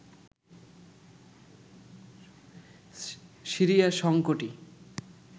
Syria সংকটই